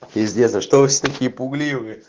пиздец а что вы все такие пугливые